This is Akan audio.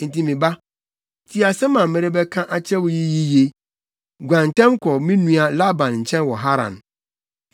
Enti me ba, tie asɛm a merebɛka akyerɛ wo yi yiye. Guan ntɛm kɔ me nua Laban nkyɛn wɔ Haran.